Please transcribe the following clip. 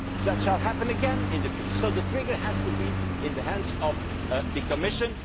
This will happen again in the future, so the trigger has to be in the hands of the Commission.